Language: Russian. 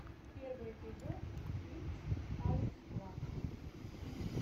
первый эпизод итс алекс клак